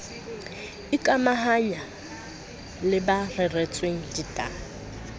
ikamahanya le ba reretsweng ditaba